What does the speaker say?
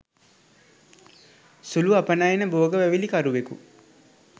සුළු අපනයන භෝග වැවිලිකරුවෙකු